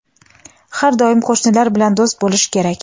Har doim qo‘shnilar bilan do‘st bo‘lish kerak.